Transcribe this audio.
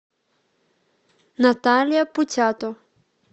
наталья путято